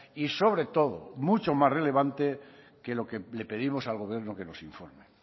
y sobre todo mucho más relevante que lo que le pedimos al gobierno que nos informe